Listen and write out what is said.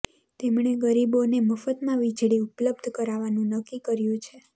તેમણે ગરીબોને મફતમાં વીજળી ઉપલબ્ધ કરાવવાનું નક્કી કર્યું છે